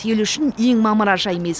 ел үшін ең мамыражай мез